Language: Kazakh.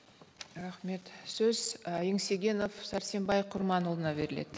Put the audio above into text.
рахмет сөз ы еңсегенов сәрсенбай құрманұлына беріледі